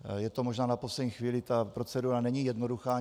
Je to možná na poslední chvíli, ta procedura není jednoduchá.